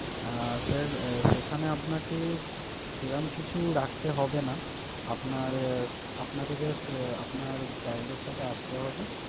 আহ sir সেখানে আপনাকে সেরকম কিছু রাখতে হবে না। আপনার আপনাকে just আপনার child এর সাথে আসতে হবে।